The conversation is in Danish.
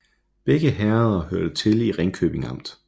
Begge herreder hørte til Ringkøbing Amt